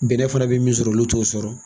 Bɛnnɛ fana bi min sɔrɔ olu t'o sɔrɔ.